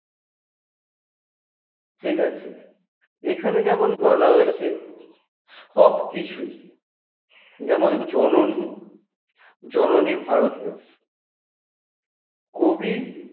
ঠিকাছে এখানে যেমন বলা হয়েছে সবকিছুই যেমন জননী, জননী ভারত দেশ কবি